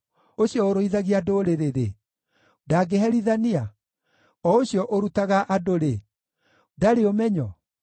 Ũcio ũrũithagia ndũrĩrĩ-rĩ, ndangĩherithania? O ũcio ũrutaga andũ-rĩ, ndarĩ ũmenyo?